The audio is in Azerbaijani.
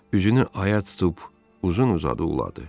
Üzünü aya tutub uzun-uzadı uladı.